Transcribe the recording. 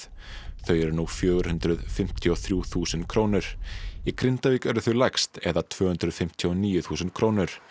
þau eru nú fjögur hundruð fimmtíu og þrjú þúsund krónur í Grindavík eru þau lægst eða tvö hundruð fimmtíu og níu þúsund krónur